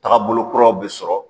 Tagabolo kuruw bɛ sɔrɔ.